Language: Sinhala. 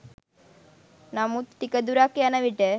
නමුත් ටික දුරක් යනවිට